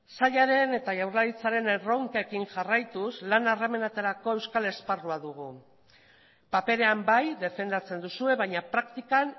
sailaren eta jaurlaritzaren erronkekin jarraituz lan harremanetarako euskal esparrua dugu paperean bai defendatzen duzue baina praktikan